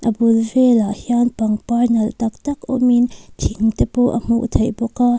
a bul velah hian pangpar nalh taktak awm in thing te pawh a hmuh theih bawk a.